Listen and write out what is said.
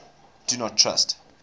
do not trust